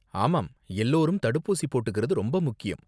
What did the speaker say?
ஆமாம், எல்லோரும் தடுப்பூசி போட்டுகிறது ரொம்ப முக்கியம்.